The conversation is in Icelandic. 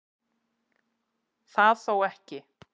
Það þó ekki